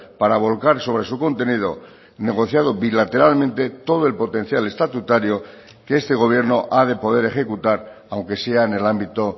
para volcar sobre su contenido negociado bilateralmente todo el potencial estatutario que este gobierno ha de poder ejecutar aunque sea en el ámbito